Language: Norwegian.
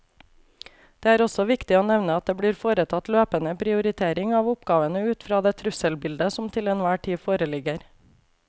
Det er også viktig å nevne at det blir foretatt løpende prioritering av oppgavene ut fra det trusselbildet som til enhver tid foreligger.